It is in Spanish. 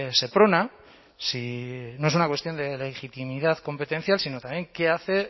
seprona no es una cuestión de legitimidad competencial sino también qué hace